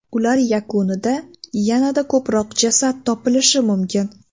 Ular yakunida yanada ko‘proq jasad topilishi mumkin.